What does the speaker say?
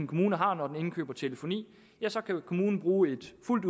kommune har når den indkøber telefoni så kan kommunen bruge et fuldt